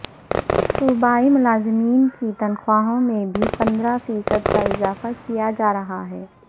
صوبائی ملازمین کی تنخواہوں میں بھی پندرہ فیصد کا اضافہ کیا جا رہا ہے